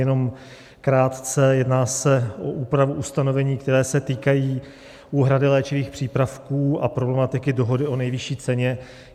Jenom krátce: jedná se o úpravu ustanovení, která se týkají úhrady léčivých přípravků a problematiky dohody o nejvyšší ceně.